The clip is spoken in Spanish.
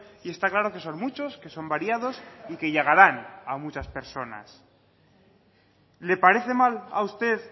y está claro que son muchos que son variados y que llegarán a muchas personasle parece mal a usted